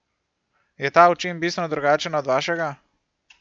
Je ta v čem bistveno drugačen od vašega?